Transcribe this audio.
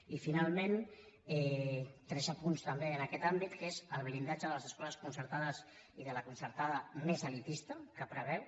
i finalment tres apunts també en aquest àmbit que és el blindatge de les escoles concertades i de la concertada més elitista que preveu